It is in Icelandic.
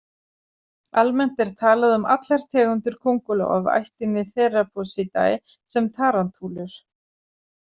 Almennt er talað um allar tegundir köngulóa af ættinni Theraphosidae sem tarantúlur.